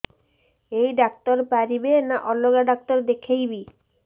ଏଇ ଡ଼ାକ୍ତର ପାରିବେ ନା ଅଲଗା ଡ଼ାକ୍ତର ଦେଖେଇବି